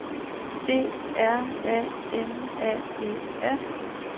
D R A M A E R